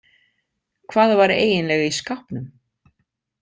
Hvað var eiginlega í skápnum?